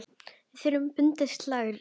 Við þurfum bundið slitlag þar.